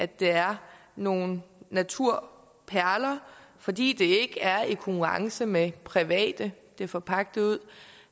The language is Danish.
det er nogle naturperler fordi det ikke er i konkurrence med private det er forpagtet ud